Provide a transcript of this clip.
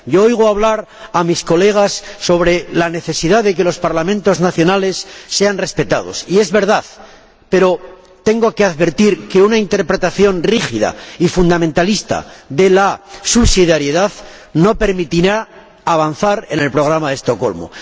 Yo oigo hablar a mis colegas sobre la necesidad de que los Parlamentos nacionales sean respetados, y es verdad, pero tengo que advertir que una interpretación rígida y fundamentalista de la subsidiariedad no permitirá avanzar en el programa de Estocolmo.